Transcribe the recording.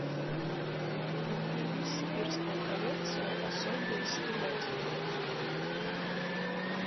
пельмени сибирская коллекция особые с телятиной